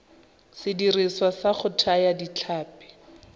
sediriswa sa go thaya ditlhapi